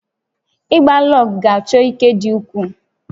Ịgba lọọgụ̀ ga-achọ ike dị ukwuu